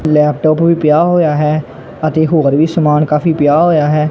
Laptop ਵੀ ਪਿਆ ਹੋਇਆ ਹੈ ਅਤੇ ਹੋਰ ਵੀ ਸਮਾਨ ਕਾਫੀ ਪਿਆ ਹੋਇਆ ਹੈ।